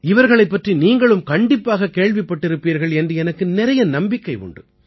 இவர்களைப் பற்றி நீங்களும் கண்டிப்பாகக் கேள்விப்பட்டிருப்பீர்கள் என்று எனக்கு நிறைய நம்பிக்கை உண்டு